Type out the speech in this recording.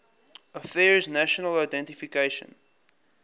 affairs national identification